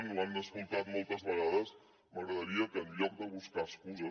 ho han sentit moltes vegades m’agradaria que en lloc de buscar excuses